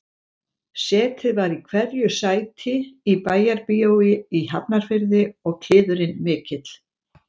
Setið var í hverju sæti í Bæjarbíói í Hafnarfirði og kliðurinn mikill